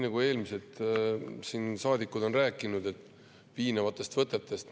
Eelmised saadikud on rääkinud piinavatest võtetest.